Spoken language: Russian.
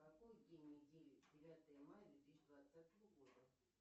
какой день недели девятое мая две тысячи двадцатого года